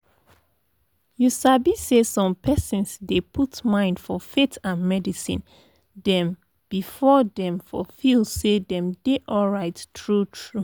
you sabi say som persons dey put mind for faith and medicine dem before dem for feel say dem dey alright true true